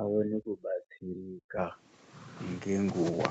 aone kubatsirika ngenguwa.